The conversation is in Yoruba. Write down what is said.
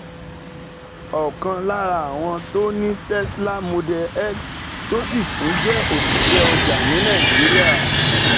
Ọ̀kan lára lára àwọn tó ní Tesla Model X tó sì tún jẹ́ òṣìṣẹ́ ọjà ní Nàìjíríà,